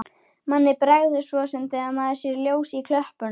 Manni bregður svo sem þegar maður sér ljós í klöppunum.